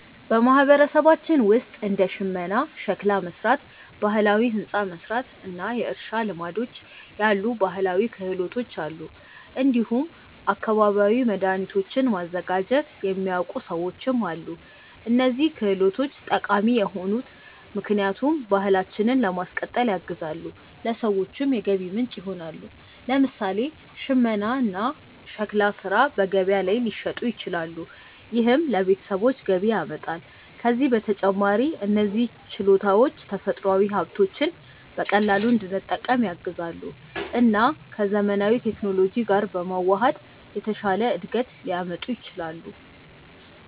በማህበረሰባችን ውስጥ እንደ ሽመና፣ ሸክላ መሥራት፣ ባህላዊ ሕንፃ መሥራት እና የእርሻ ልማዶች ያሉ ባህላዊ ክህሎቶች አሉ። እንዲሁም አካባቢያዊ መድኃኒቶችን ማዘጋጀት የሚያውቁ ሰዎችም አሉ። እነዚህ ክህሎቶች ጠቃሚ የሆኑት ምክንያቱም ባህላችንን ለማስቀጠል ያግዛሉ፣ ለሰዎችም የገቢ ምንጭ ይሆናሉ። ለምሳሌ ሽመና እና ሸክላ ሥራ በገበያ ላይ ሊሸጡ ይችላሉ፣ ይህም ለቤተሰቦች ገቢ ያመጣል። ከዚህ በተጨማሪ እነዚህ ችሎታዎች ተፈጥሯዊ ሀብቶችን በቀላሉ እንድንጠቀም ያግዛሉ እና ከዘመናዊ ቴክኖሎጂ ጋር በመዋሃድ የተሻለ እድገት ሊያመጡ ይችላሉ።